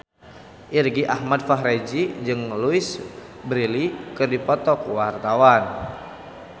Irgi Ahmad Fahrezi jeung Louise Brealey keur dipoto ku wartawan